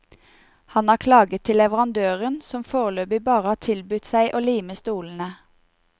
Han har klaget til leverandøren som foreløpig bare har tilbudt seg å lime stolene.